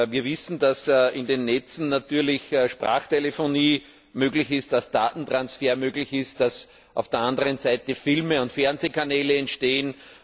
Wir wissen, dass in den Netzen natürlich Sprachtelefonie möglich ist, dass Datentransfer möglich ist, dass auf der anderen Seite Filme und Fernsehkanäle entstehen.